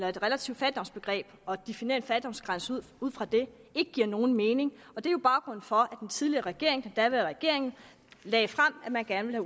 at et relativt fattigdomsbegreb og definere en fattigdomsgrænse ud fra det ikke giver nogen mening og det er jo baggrunden for den tidligere regering den daværende regering lagde frem at man gerne ville